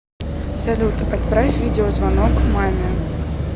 салют отправь видеозвонок маме